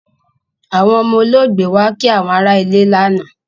Àwọn ọmọ olóògbé wá kí àwọn ará ilé lánàá